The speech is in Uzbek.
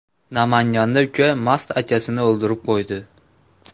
Namanganda uka mast akasini o‘ldirib qo‘ydi.